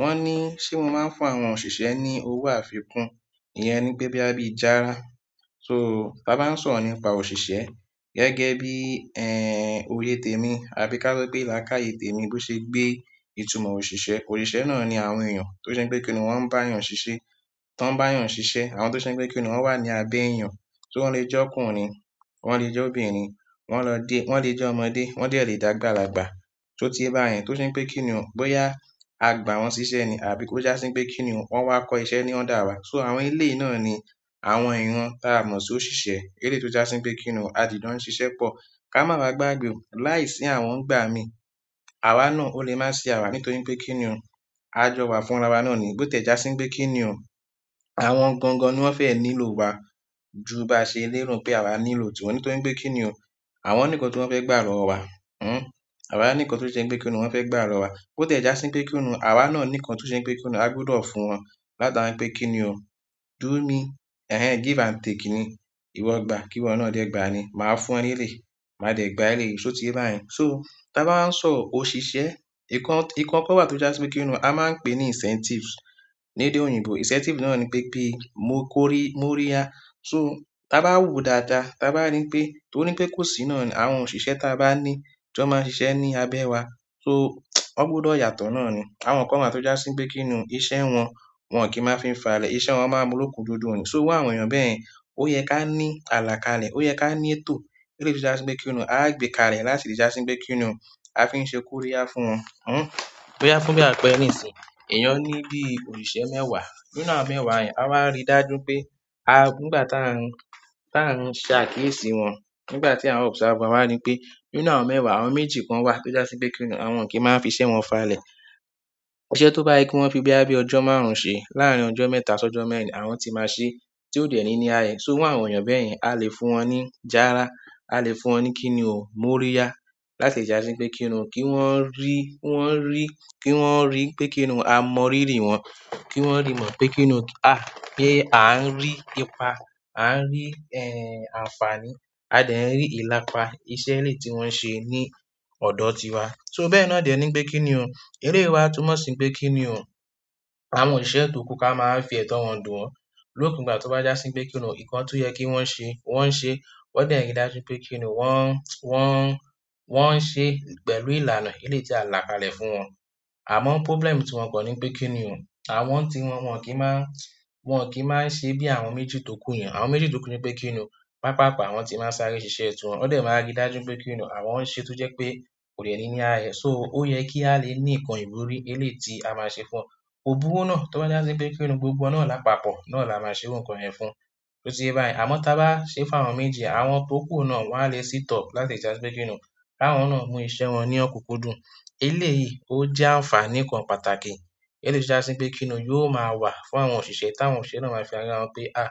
Wọ́n ní, ṣé mo máa ń fún àwọn òṣìṣẹ́ ní owó àfikún? Ìyẹn ni pé bóyá bí járá. So, tá bá ń sọ̀rọ̀ nípa òṣìṣẹ́ gẹ́gẹ́ bí, ẹ́, òye tè mi àbí ká sọ pé làákáyè tè mi bó ṣe gbé ìtumọ̀ òṣìṣẹ́. Òṣìṣẹ́ náà ni àwọn èèyàn tó ṣe pé kíni wọ́n n bá èèyàn ṣiṣẹ́. Tán bá èèyàn ṣiṣẹ́, àwọn tó ṣe pé kíni wọ́n wà ní abẹ́ èèyàn. So wọ́n le jẹ́ ọkùnrin, wọ́n le jẹ́ obìnrin, wọ́n lọ dé, wọ́n le jẹ́ ọmọdé, wọ́n dẹ le j'àgbàlagbà. Sotíyé báyẹn tó ṣe wí pé kíni wọ́n, bóyá a gbà wọ́n ṣiṣẹ́ ni àbí kó jásí pé kíni o wọ́n wá kọ́ iṣẹ́ ní under wá. So àwọn eléyìí náà ni àwọn ìran tí a mọ̀ sí òṣìṣẹ́ eléyìí tó jásí pé kíni o, a jì jọ n ṣiṣẹ́ pọ̀. Ká má wa gbàgbé o, láìsí àwọn nígbà mí, àwa náà ò lè má ṣíà wa nítorí pé kíni wọ́n. A jọ wà fún ara wa náà ni. Bó ti ẹ̀ jásí wí pé kíni o, àwọn gangan ni wọ́n fẹ́ nílò wa ju báa ṣe léèrò pé àwa nílò tìwọ́n nítorí pé kíni o. Àwọn ní nǹkan tí wọ́n fẹ́ gbà lọ́wọ́ wa. Hmm. Àwa ní nǹkan tó ṣe pé kíni wọ́n fẹ́ gbà lọ́wọ́ wa. Bó tiẹ̀ jásí pé kíni o, àwa náà ní nǹkan tó ṣe wípé kíni o agbọ́dọ̀ fún wọn látara wípé kíni o. Do me, ẹ́ ẹ, give and take ni, ìwọ gbà kí wọ náà dẹ gbà ni. Máa fún ẹ ni eléyìí, màá dẹ̀ gbà eléyìí sóti báyẹn. So tá bá ń sọ òṣìṣẹ́, nǹkan, nǹkan kan wà tó jásí pé kíni o, a máa ń pè ní incentives ní èdè òyìnbó. Incentive náà ni pé ki mo kórí, mo ríya. So tá bá wòó dáadáa, tá bá rí wí pé, torí pé kò sí náà ni àwọn òṣìṣẹ́ tá bá ní tí wọ́n máa ń ṣiṣẹ́ ní abẹ́ wa. So wọ́n gbọ́dọ̀ yàtọ̀ náà ni. Àwọn kan wà tó jásí wípé kínní o, iṣẹ́ wọn, wọn ọ̀n kì máa n fi falẹ̀, iṣẹ́ wọn máa n muruku dundun ni, so irú àwọn èèyàn báyen, ó yẹ ká ní àlàkalẹ̀, ó yẹ ká ní ètò, eléyìí tó jásí wípé kínní o àá gbe kalẹ̀, láti lè jásí wípé kín ní o. A fi ń ṣe kó ríyá fún wọn, hm, bóyá fún bí àpẹẹrẹ ní ìsìn yìí. Ẹ̀yàn ní bí òṣìṣẹ́ mẹ́wàá, nínú àwọn mẹ́wàá yẹn, a wáa rí dájú pé a-- nígbà tá n, tá a n ṣe àkéésì wọn, nígbà tí à observe wọn, a wáa rí pé nínú àwọn mẹ́wàá, àwọn méjì kan wà tó jásí pé kíni o, àwọn o kì í máa n fi iṣẹ́ wọn fàlẹ̀. Iṣẹ́ tó bá yẹ kí wọ́n fi bóyá bí ọjọ́ márùn-ún ṣe láàrín ọjọ́ mẹ́ta sí ọjọ́ mẹ́rin, àwọn tí máa ṣe tí ó dẹ ní ní ááyẹ. So irú àwọn èèyàn bẹ́yen, a lè fún wọn ní járá, a lè fún wọn ní kíni o, mo ríya láti le jàsí wí pé kíni o, kí wọ́n rí, kí wọ́n rí, kí wọ́n rí pé kíni o, a mọ rírì wọ́n, kí wọ́n rí mọ̀ pé kíni o, a, pé, à ń rí ipa, à ń rí, ẹ́, àǹfààní, a dẹ̀ ń rí ìlàpa iṣẹ́ eléyìí tí wọ́n n ṣe ní ọ̀dọ́ tiwa. So bẹ́ẹ̀ náà dẹ̀ ní pé kíni o. Eléyìí wa túnmọ̀ sí pé kíni o. Àwọn òṣìṣẹ́ èyí tó kù ká máa wá fi ẹtọ wọn dùn wọ́n lópin ìgbà tó bá jásí pé kíni o, nǹkan tó yẹ kí wọ́n ṣe, wọ́n ń ṣe, wọ́n dẹ̀ rí dájú pé kíni wọ́n, wọ́n, wọ́n ń ṣe pẹ̀lú ìlànà eléyìí tí a làkalẹ̀ fún wọn. Àmọ́ problem ti wọn kàn nipé kinni o, àwọn ní ti wọn, wọn kìí máa ń, wọn kìí máa n ṣe bí àwọn méjì tókù yẹn àwọn méjèjì tókù nipé kínní o, pápààpá àwọn ti máa n sáré ṣiṣẹ́ tiwon, wọn dẹ máa ń ri dájú wípé kínní o, àwọn n ṣe tó jẹ́ pé kò dẹ̀ ní ní àáye, so ó ye kí á le ní nǹkan ìwúrí, eléyìí tí a máa ṣe fún wọn. Kò burú náà tó bá jásí pé kíni o gbogbo wọn náà lápapọ̀ náà la máa ṣe irú nkan yẹ̀n fún. So tí bá yẹn, àmọ́ tá báa ṣe fún àwọn méje, àwọn tó kù náà wọn à lè sit up láti le jà sí pé kíni o. Káwọn náà mú iṣẹ̀ wọn ní ọ̀kùnkùn dùn. Eléyìí ó jẹ́ àǹfààní kan pàtàkì eléyìí tó jásí pé kíni o yóò máa wà fún àwọn òṣìṣẹ́ táwọn òṣìṣẹ́ náà máa fi rírà wọn pé, à,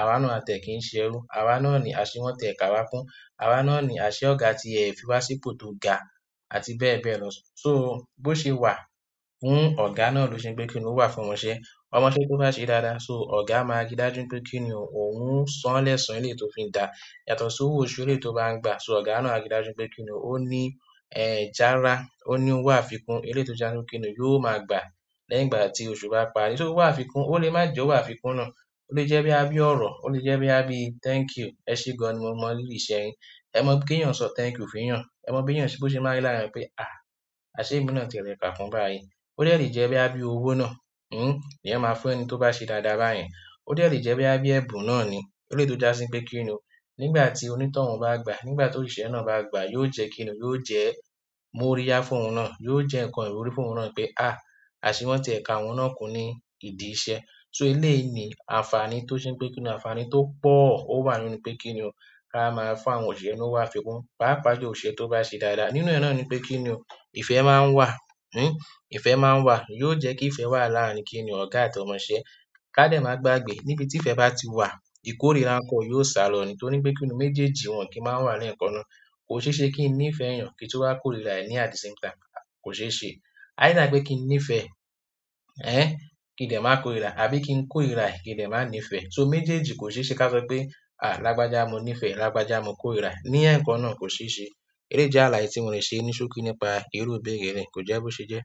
àwa náà a tiẹ̀ kí ń ṣe ẹrú, àwa náà ni àṣe wọ́n tiẹ̀ ká wa kún, àwa náà ni àṣẹ ọ̀gá tí ẹ fi wá sí ipò tó ga àti bẹ́ẹ̀ bẹ́ẹ̀ lọ. So bó ṣe wà fún ọ̀gá náà ló ṣe wí pé kíni o wà fún ọmọ iṣẹ́. Ọmọṣẹ́ tó bá n sẹ́ dáadáa, so ọ̀gá máa rí dájú wípé pé kíni o òun sán lẹ́sàn eléyìí tó fi ń dà. Yàtọ̀ sí owó oṣù eléyìí tó bá ń gbà. So ọ̀gá náà a rí dájú pé kíni o, ó ní, ẹ́, jàra, ó ní owó àfikún eléyìí tó jásí wí pé kíni o yóò máa gbà lẹ́yìn ìgbà tí ọ̀sù bá parí. So owó àfikún, ó lè má jẹ́ owó àfikún náà. Ó lè jẹ́ bóyá bí ọ̀rọ̀, ó lè jẹ́ bóyá bí thank you, ẹṣé gán ni mo mọ̀ rírì iṣẹ́ yín. Ẹ mọ̀ bi kí èèyàn ó sọ thank you fún èèyàn? Ẹ mọ̀ bí èèyàn se--, bó ṣe máa n rí lára eeyan pé, à, àṣe emí náà tiẹ̀ lẹ̀ kà kún báyìí. Ó dè lè jẹ́ bóyá bí owó náà, hm, èèyàn máa fún ẹni tó bá ṣe dáadáa báyẹn. Ó dè le jẹ́ bóyá bí ẹ̀bùn náà ni eléyìí tó jásí pé kíni o. Nígbà tí onítọ̀hún bá gba, nígbà tóṣìṣẹ́ náà bá gba, yóò jẹ́ kíni o, yóò jẹ́ mo ríya fún òhun náà, yóò jẹ́ nǹkan ìwúrí fún òhun náà pé, à, àṣe wọ́n tiẹ̀ ká òhun náà kún ní ìdí ìṣe. So eléyìí ni àǹfààní tó ṣe wí pé kíni o. Àǹfààní tó pọ̀ ó wà nínú pé kíni o. Ká máa fún àwọn òṣìṣẹ́ ní owó àfikún, pàápàá ju òṣìṣẹ́ tó bá ṣe dáadáa. Nínú ẹ náà ni pé kíni o ìfẹ́ máa ń wà, hm, ìfẹ́ máa ń wà. Yóò jẹ́ kí ìfẹ́ wà láàrin kíni o ọ̀gá àti ọmọṣẹ́. Ká dẹ̀ máa gbàgbé, níbi tí ìfẹ́ bá ti wà, ìkórìíra n kọ́ o yóò sálọ nítorí wí pé kíni o méjèèjì wọn kì í máa n wà lẹ́ẹ̀kan náà. Kò ṣeéṣe kí n nífẹẹ èèyàn, kí n tún wáá kórira rẹ̀ at the same time. Kò ṣe é ṣe either pe kí n nífẹ̀ẹ́ ẹẹ kí n dẹ má kòrira àbí kí n kòrira rẹ kí n dẹ má nífẹẹ, so méjèèjì kò ṣeéṣe ká sọpé a lágbájá mo nífẹẹ lágbájá mo kórira ẹ ní ẹ̀ẹ̀kan náà, kò ṣeéṣe eléyìí jẹ àlàyé tí mo lè se ní ṣókí nípa irú ìbéèrè eléyìí, kò jẹ bí o ṣe jẹ.